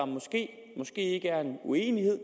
måske ikke er uenighed